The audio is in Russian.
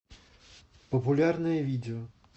популярное видео